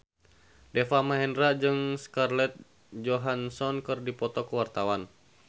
Deva Mahendra jeung Scarlett Johansson keur dipoto ku wartawan